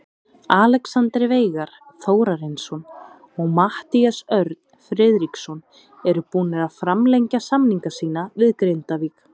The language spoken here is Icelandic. Alexander Veigar Þórarinsson og Matthías Örn Friðriksson eru búnir að framlengja samninga sína við Grindavík.